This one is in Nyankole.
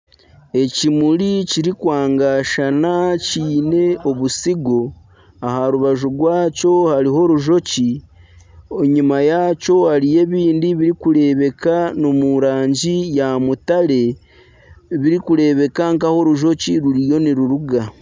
Ekimuri kiri kwangashana kiine obusigo aha rubaju rwakyo hariho orujoki. Enyima yaakyo hariyo ebindi biri kurebeka omu rangi ya mutare, biri kurebeka nka ahi orujoki ruriyo niruruga.